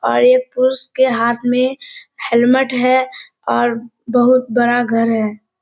और ये पुरुष के हाथ में हेलमेट है और बहुत बड़ा घर है।